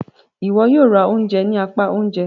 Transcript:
Iwọ yóò rá oúnjẹ ni apá oúnjẹ!